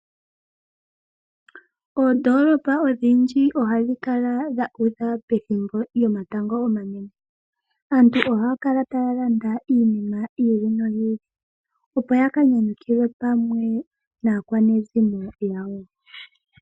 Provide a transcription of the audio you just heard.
Oondolopa odhindji ohadhi kala dhuudha pethimbo lyomatango omanene . Aantu ohaya kala taya landa iinima yiili noyiili , opo yaka nyanyukilwe pamwe naakwanezimo yawo .